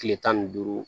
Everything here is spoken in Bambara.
Kile tan ni duuru